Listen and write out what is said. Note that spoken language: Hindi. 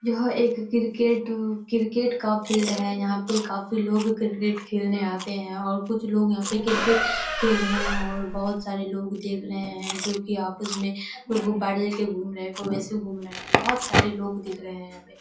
यह एक क्रिकेट क्रिकेट का फील्ड है यहाँ पर काफी लोग क्रिकेट खेलने आते हैं और कुछ लोग यहाँ पर क्रिकेट खेल रहे हैं और बहुत सारे लोग देख रहे हैं जो कि आपस में कोई गुब्बारे लेकर घूम रहे हैं कोई वैसे घूम रहे हैं बहुत सारे लोग दिख रहे हैं।